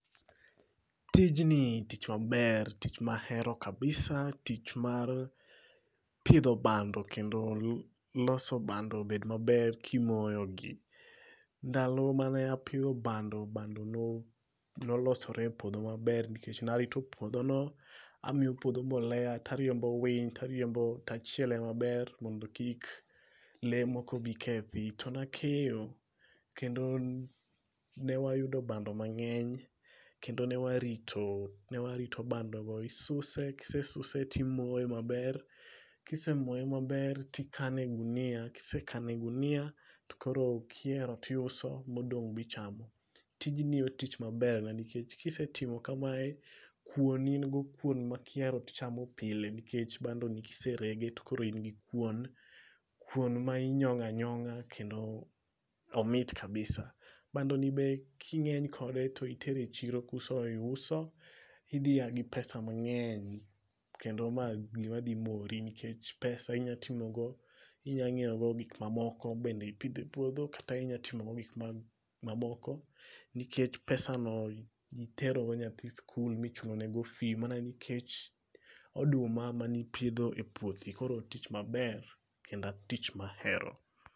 Tijni tich maber tich mahero kabisa tich mar, pidho bando kendo lo loso bando obed maber kimoyogi. Ndalo mane apidho bando bando nolosore e puodho maber nikech narito puodho no. Amiyo puodho mbolea, tariembo winy, tariembo tachiele maber mondo kik lee moko bi kethi. To nakeyo, kendon newayudo bando mang'eny, kendo newarito, newarito bando go isuse kisesuse timoye maber, kisemoye maber tikane e gunia, kisekane e gunia to koro kiero tiuso modong' bichamo. Tijni otich maber na nikech kisetimo kamae, kuon in go kuon ma kiero tichamo pile nikech bando ni kiserege to koro in gi kuon, kuon ma inyong'a nyong'a kendo omit kabisa. Bando ni be king'eny kode to itere e chiro kusoiuso, idhi yagi pesa mang'eny kendo ma gima dhi mori nikech pesa inyatimogo, inyang'iewgo gik mamoko bende ipidh e puodho kata inyatimogo gik ma mamoko. Nikech pesano itero go nyaki skul michulo ne fee mana nikech oduma manipidho e puothi koro otich maber kendo otich mahero